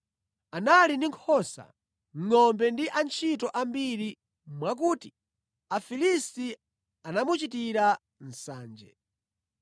Anali ndi nkhosa, ngʼombe ndi antchito ambiri mwakuti Afilisti anamuchitira nsanje.